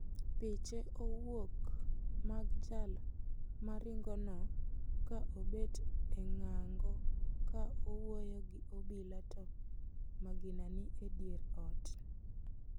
Piche owuok mag jal moringono ka obet e ng'ango ka owuoyo gi obila to magina ni e dier ot.